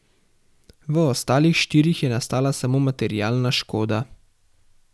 V ostalih štirih je nastala samo materialna škoda.